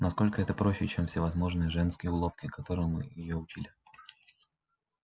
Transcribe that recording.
насколько это проще чем всевозможные женские уловки которым её учили